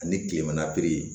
Ani kilema piri ye